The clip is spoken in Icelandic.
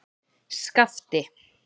Skafti